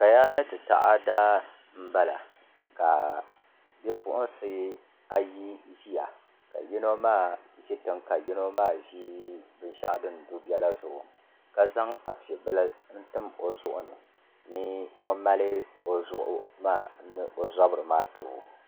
Kaya ni taada n bala ka bipuɣunsi ayi ʒiya ka yino maa ʒi tiŋ ka yino maa ʒi binshaɣu din du biɛla zuɣu ka zaŋ afi bili n tim o zuɣu ni ni o mali o zuɣu maa ni o zabiri maa ti o